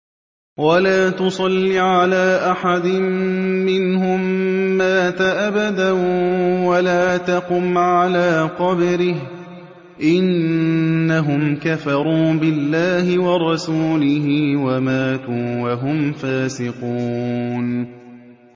وَلَا تُصَلِّ عَلَىٰ أَحَدٍ مِّنْهُم مَّاتَ أَبَدًا وَلَا تَقُمْ عَلَىٰ قَبْرِهِ ۖ إِنَّهُمْ كَفَرُوا بِاللَّهِ وَرَسُولِهِ وَمَاتُوا وَهُمْ فَاسِقُونَ